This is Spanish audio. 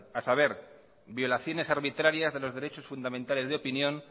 a saber violaciones arbitrarias de los derechos fundamentales de opinión